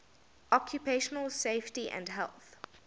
occupational safety and health